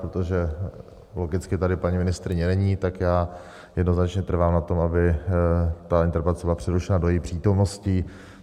Protože logicky tady paní ministryně není, tak já jednoznačně trvám na tom, aby ta interpelace byla přerušena do její přítomnosti.